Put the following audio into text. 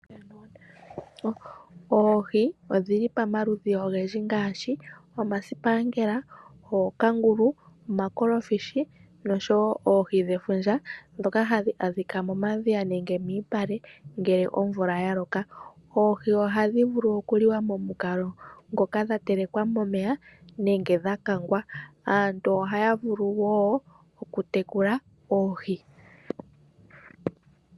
Oohi odhi li pamaludhi ogendji ngaashi omasipangela, ookangulu, omakolofishi noshowo oohi dhefundja ndhoka hadhi adhika momadhiya nenge miipale ngele omvula ya loka. Oohi ohadhi vulu okuliwa momukalo ngoka dha telekwa momeya nenge dha kangwa. Aantu ohaya vulu wo okutekula oohi.